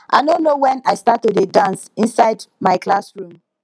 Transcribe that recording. i no know wen i start to dey dance inside my classroom